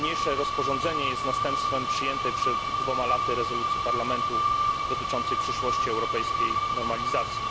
Niniejsze rozporządzenie jest następstwem przyjętej przed dwoma laty rezolucji Parlamentu dotyczącej przyszłości europejskiej normalizacji.